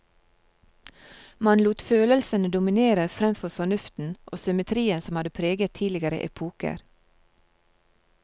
Man lot følelsene dominere fremfor fornuften og symmetrien som hadde preget tidligere epoker.